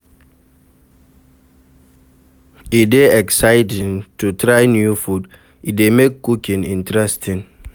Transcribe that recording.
E dey exciting to try new food, e dey make cooking interesting.